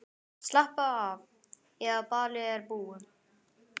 Slappaðu af, eða ballið er búið.